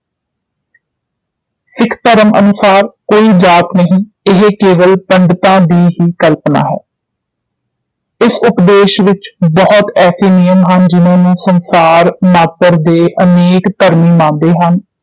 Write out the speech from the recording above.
ਸਿੱਖ ਧਰਮ ਅਨੁਸਾਰ ਕੋਈ ਜਾਤਿ ਨਹੀ ਇਹ ਕਵਲ ਪੰਡਤਾਂ ਦੀ ਹੀ ਕਲਪਨਾ ਹੈ ਇਸ ਉਪਦੇਸ਼ ਵਿਚ ਬਹੁਤ ਐਸੇ ਨਿਯਮ ਹਨ ਜਿਨ੍ਹਾਂ ਨੂੰ ਸੰਸਾਰ ਮਾਤਰ ਦੇ ਅਨੇਕ ਧਰਮੀ ਮੰਨਦੇ ਹਨ